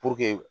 Puruke